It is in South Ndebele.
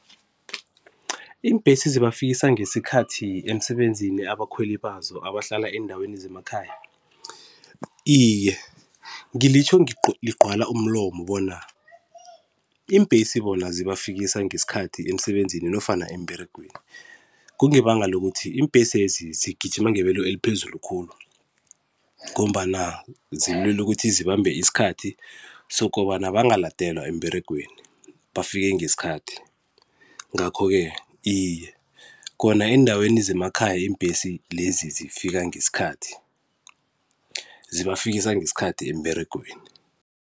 Iimbhesi zibafikisa ngesikhathi emsebenzini abakhweli bazo abahlala eendaweni zemakhaya? Iye, ngilitjho ligcwala umlomo bona iimbhesi bona zibafikisa ngesikhathi emsebenzini nofana emberegweni, kungebanga lokuthi imbhesezi zigijima ngebelo eliphezulu khulu ngombana zilwela ukuthi zibambe isikhathi sokobana bangaladelwa emberegweni, bafike ngesikhathi. Ngakho-ke iye, khona eendaweni zemakhaya imbhesi lezi zifika ngesikhathi, zibafikisa ngesikhathi emberegweni.